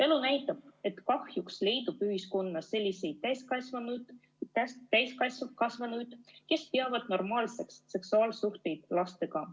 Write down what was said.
Elu näitab, et kahjuks leidub ühiskonnas selliseid täiskasvanuid, kes peavad normaalseks seksuaalsuhteid lastega.